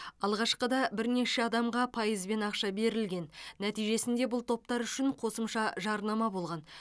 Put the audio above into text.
алғашқыда бірнеше адамға пайызбен ақша берілген нәтижесінде бұл топтар үшін қосымша жарнама болған